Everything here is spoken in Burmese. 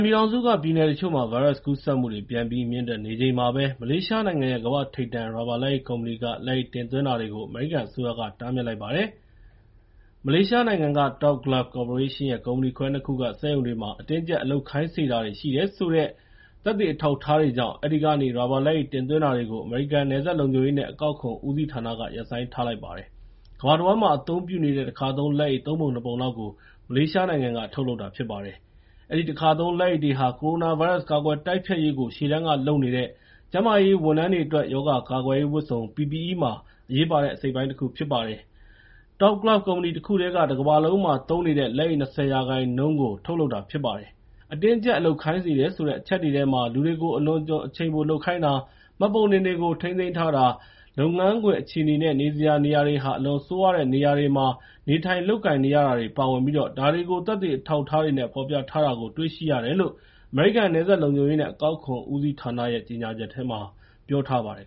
ပြည်ထောင်စုက ပြည်နယ်တချို့မှာ ဗိုင်းရပ်စ်ကူးစက်မှုတွေ ပြန်ပြီး မြင့်တက်နေချိန်မှာပဲ မလေးရှားနိုင်ငံရဲ့ ကမ္ဘာ့ထိပ်တန်း ရာဘာလက်အိတ်ကုမ္ပဏီက လက်အိတ်တင်သွင်းတာတွေကို အမေရိကန်အစိုးရက တားမြစ်လိုက်ပါတယ်။ မလေးရှားနိုင်ငံက Top Glove ကော်ပိုရေးရှင်းရဲ့ ကုမ္ပဏီအခွဲ နှစ် ခုက စက်ရုံတွေမှာ အတင်းအကြပ် အလုပ်ခိုင်းစေတာတွေရှိတယ်ဆိုတဲ့ သက်သေအထောက်အထားတွေကြောင့် အဲဒီကနေ ရာဘာလက်အိပ်တင်သွင်းတာတွေကို အမေရိကန် နယ်စပ်လုံခြုံရေး နဲ့ အကောက်ခွန်ဦးစီးဌာနက ရပ်ဆိုင်းထားလိုက်ပါတယ်။ ကမ္ဘာတဝန်းအသုံးပြုနေတဲ့ တခါသုံးလက်အိတ် ၃ ပုံ ၂ ပုံလောက်ကို မလေးရှားနိုင်ငံက ထုတ်လုပ်တာဖြစ်ပါတယ်။ အဲဒီ တခါသုံးလက်အိပ်တွေဟာ ကိုရိုနာဗိုင်းရပ်စ် ကာကွယ်တိုက်ဖျက်ရေးကို ရှေ့တန်းက လုပ်နေတဲ့ ကျန်းမာရေးဝန်ထမ်းတွေအတွက် ရောဂါကာကွယ်ရေးဝတ်စုံ မှာ အရေးပါတဲ့ အစိတ်အပိုင်းတခုဖြစ်ပါတယ်။ Top Glove ကုမ္ပဏီတခုတည်းက တကမ္ဘာလုံးမှာ သုံးနေတဲ့ လက်အိတ် ၂၀ ရာခိုင်နှုန်းကို ထုတ်လုပ်တာဖြစ်ပါတယ်။ အတင်းအကြပ် အလုပ်ခိုင်းစေတယ်ဆိုတဲ့ အချက်တွေထဲမှာ လူတွေကို အလွန်အကျွံ အချိန်ပိုလုပ်ခိုင်းတာ၊ မှတ်ပုံတင်တွေကို ထိန်းသိမ်းထားတာ၊ လုပ်ငန်းခွင်အခြေအနေနဲ့ နေစရာနေရာတွေက အလွန်ဆိုးရွားတဲ့နေရာတွေမှာ နေထိုင်လုပ်ကိုင်နေရတာတွေ ပါဝင်ပြီး ဒါတွေကို သက်သေ အထောက်အထားတွေနဲ့ ဖော်ပြထားတာကို တွေ့ရှိရတယ်လို့ အမေရိကန် နယ်စပ်လုံခြုံရေးနဲ့ အကောက်ခွန်ဦးစီးဌာနရဲ့ ကြေငြာချက်ထဲမှာ ပြောထားပါတယ်